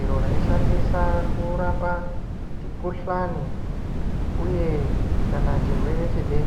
iro raishandiswa kurapa mikhuhlane kana chirwere chebesha.